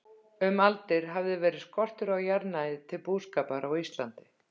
Um aldir hafði verið skortur á jarðnæði til búskapar á Íslandi.